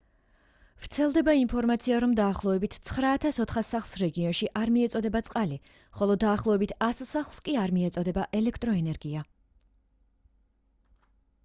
ვრცელდება ინფორმაცია რომ დაახლოებით 9400 სახლს რეგიონში არ მიეწოდება წყალი ხოლო დაახლოებით 100 სახლს კი არ მიეწოდება ელექტროენერგია